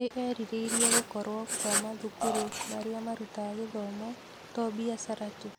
Nĩ erirĩirie gũkorũo kwa mathukuru marĩa marutaga gĩthomo to biacara tu.